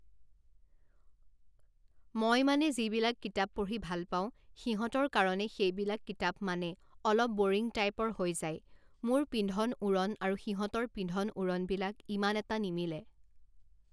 মই মানে যিবিলাক কিতাপ পঢ়ি ভাল পাওঁ সিহঁতৰ কাৰণে সেইবিলাক কিতাপ মানে অলপ বৰিং টাইপৰ হৈ যায় মোৰ পিন্ধন উৰণ আৰু সিহঁতৰ পিন্ধণ উৰণবিলাক ইমান এটা নিমিলে।